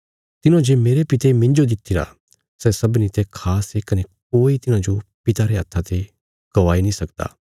तिन्हौं जे मेरे पिते मिन्जो दित्तिरा सै सबनीं ते खास ये कने कोई तिन्हाजो पिता रे हत्था ते गवाई नीं सकदा